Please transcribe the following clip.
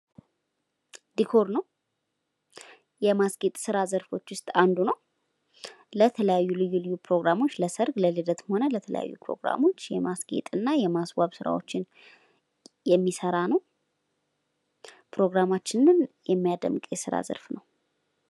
ዲኮር ነው። የማስጌጥ ስራ ዘርፎች ውስጥ አንዱ ነው። ለተለያዩ ልዩ ልዩ የሆኑ ፕሮግራሞች ለሰርግ፣ ለልደት የማስጌጥ እና የማስዋብ ስራዎችን የሚሰራ ነው።